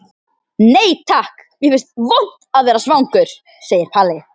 Nei takk, mér finnst vont að vera svangur, segir Palli.